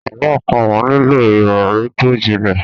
Àlọ́ àpamọ̀ nílò ìròrí tó jinlẹ̀.